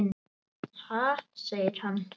Ha? segir hann.